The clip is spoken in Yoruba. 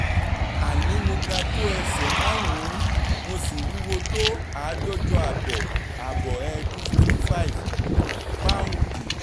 àní mo ga tó ẹsẹ̀ márùn-ún mo sì wúwo tó àádọ́jọ ààbọ̀ ààbọ̀ [ two hundred fifty five ] paù́ndì